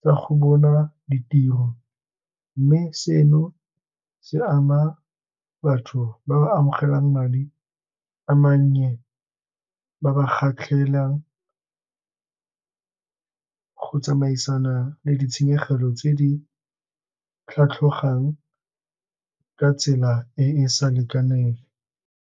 tsa go bona ditiro. Mme seno se ama batho ba ba amogelang madi a mannye, ba ba go tsamaisana le ditshenyegelo tse di tlhatlhogang ka tsela e e sa lekaneng.